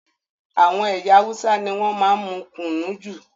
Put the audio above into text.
Àwọn ẹyà Hausa ní wọn máa n mú kùnú jù